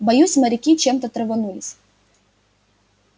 боюсь моряки чемто траванулись